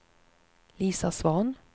Lisa Svahn